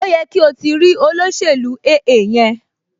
Ó yẹ kí o ti o ti rí olóṣèlú AA yẹn